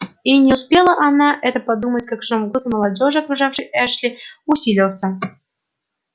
и не успела она это подумать как шум в группе молодёжи окружавшей эшли усилился